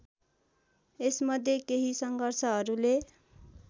यसमध्ये केही सङ्घर्षहरूले